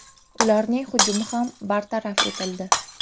Ularning hujumi ham bartaraf etildi.